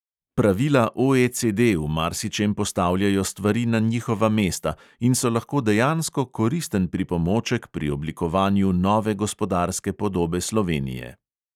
Pravila OECD v marsičem postavljajo stvari na njihova mesta in so lahko dejansko koristen pripomoček pri oblikovanju nove gospodarske podobe slovenije.